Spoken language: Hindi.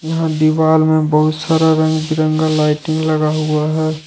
यहां दीवार में बहुत सारा रंग बिरंगा लाइटिंग लगा हुआ हैं।